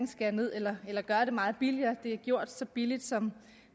skære ned eller gøre det meget billigere det er gjort så billigt som